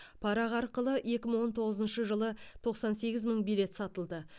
парақ арқылы екі мың он тоғызыншы жылы тоқсан сегіз мың билет сатылды